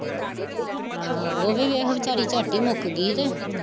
ਆਹੋ ਉਹ ਵੀ ਵੇਖ ਵੀਚਾਰੀ ਚੱਟ ਹੀਂ ਮੁੱਕ ਗਈ ਕਿ